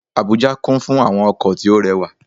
Àbújá kún fún àwọn ọkò tí ó re wà